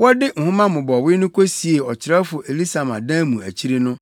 Wɔde nhoma mmobɔwee no kosiee ɔkyerɛwfo Elisama dan mu akyiri no,